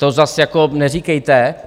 To zase jako neříkejte.